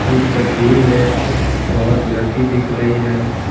इस तस्वीर में बहुत लड़की दिख रही है।